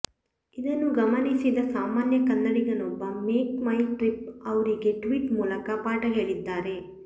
ಇದನ್ನು ಗಮನಿಸಿದ ಸಾಮಾನ್ಯ ಕನ್ನಡಿಗನೊಬ್ಬನು ಮೇಕ್ ಮೈ ಟ್ರಿಪ್ ಅವ್ರಿಗೆ ಟ್ವೀಟ್ ಮೂಲಕ ಪಾಠ ಹೇಳಿದ್ದಾರೆ